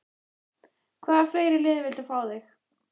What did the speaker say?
Hvaða fleiri lið vildu fá þig?